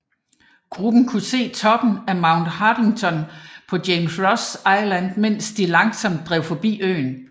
Gruppen kunne se toppen af Mount Haddington på James Ross Island mens de langsomt drev forbi øen